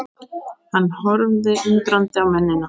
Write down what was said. Hann horfði undrandi á mennina.